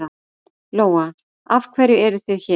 Lóa: Af hverju eruð þið hér?